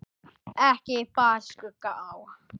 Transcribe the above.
Ekki bar skugga á.